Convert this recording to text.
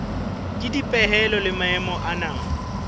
ke dipehelo le maemo ana